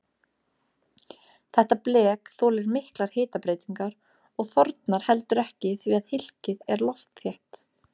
Þetta blek þolir miklar hitabreytingar og þornar heldur ekki því að hylkið er loftþétt.